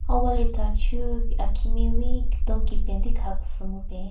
Ha wali thachu akhimeiwi keton kipen ti kaha kese mupen.